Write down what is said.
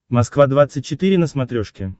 москва двадцать четыре на смотрешке